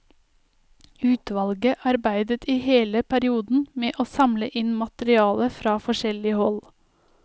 Utvalget arbeidet i hele perioden med å samle inn materiale fra forskjellig hold.